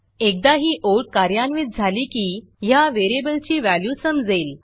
एकदा ही ओळ कार्यान्वित झाली की ह्या व्हेरिएबलची व्हॅल्यू समजेल